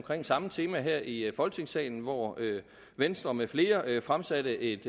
samme tema her i folketingssalen hvor venstre med flere fremsatte et